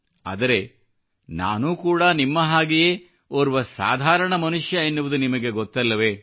ಆದರೆ ನಾನು ಕೂಡಾ ನಿಮ್ಮ ಹಾಗೆಯೇ ಓರ್ವ ಸಾಧಾರಣ ಮನುಷ್ಯ ಎನ್ನುವುದು ನಿಮಗೆ ಗೊತ್ತಲ್ಲವೇ